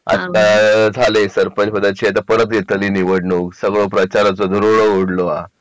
आत्ता झाले सरपंच पदाचे आता परत येत नाही निवडणूक प्रचाराचं धुरोळो उडलं